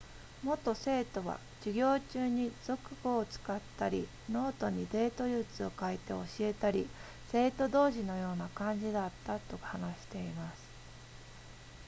元生徒は授業中に俗語を使ったりノートにデート術を書いて教えたり生徒同士のような感じだったと話しています